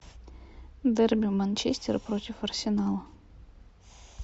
дерби манчестер против арсенала